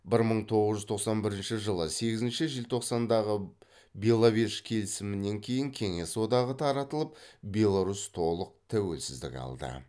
бір мың тоғыз жүз тоқсан бірінші жылы сегізінші желтоқсандағы беловеж келісімінен кейін кеңес одағы таратылып беларусь толық тәуелсіздік алды